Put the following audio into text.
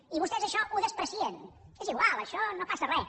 i vostès això ho menyspreen és igual això no passa res